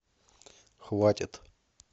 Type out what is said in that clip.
хватит